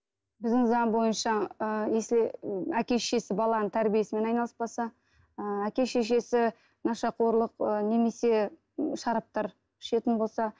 біздің заң бойынша ы если әке шешесі баланың тәрбиесімен айналыспаса ы әке шешесі нашақорлық ы немесе шараптар ішетін болса